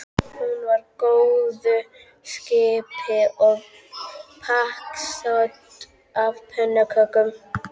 Hún var í góðu skapi og pakksödd af pönnukökum.